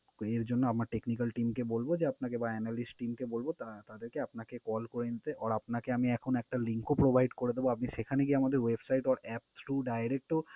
এর জন্য আমার technical team কে বলবো যে, আপনাকে বা analist team কে বলবো তা~ তাদেরকে আপনাকে call করে নিতে or আপনাকে আমি এখন একটা link ও provide করে দেবো। আপনি সেখানে গিয়ে আমাদের website or apps to direct O